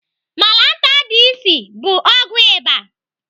Malantar DS bụ ọgwụ ịba.